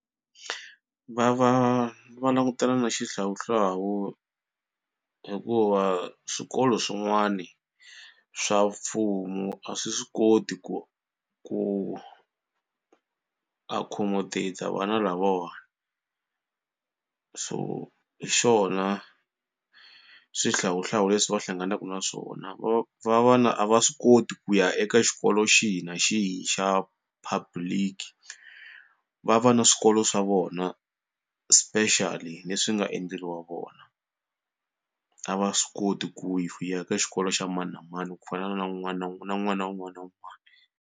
Va va va langutana na xihlawuhlawu hikuva swikolo swin'wana swa mfumo a swi swi koti ku ku accommodate-a vana lavawani so hi xona swihlawuhlawu leswi va hlanganaku na swona. Va va va na a va swi koti ku ya eka xitolo xihi na xihi xa public va va na swikolo swa vona specially leswi nga endleriwa vona. A va swi koti ku ya ka xikolo xa mani na mani ku fana na un'wana na na n'wana un'wana na un'wana.